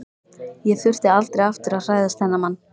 Ég þurfti aldrei aftur að hræðast þennan mann.